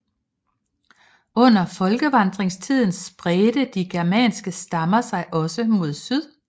Under folkevandringstiden spredte de germanske stammer sig også mod syd